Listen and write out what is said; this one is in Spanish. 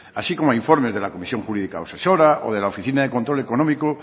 así como informes de la comisión jurídica asesora o de la oficina de control económico